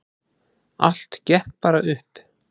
Allt gekk bara upp.